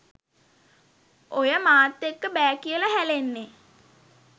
ඔය මාත් එක්ක බෑ කියලා හැලෙන්නේ